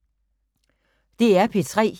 DR P3